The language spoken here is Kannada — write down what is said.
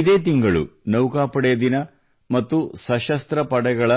ಇದೇ ತಿಂಗಳು ನೌಕಾಪಡೆ ದಿನ ಮತ್ತು ಸಶಸ್ತ್ರ ಪಡೆಗಳ